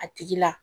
A tigi la